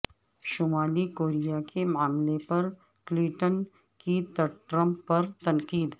شمالی کوریا کے معاملے پر کلنٹن کی ٹرمپ پر تنقید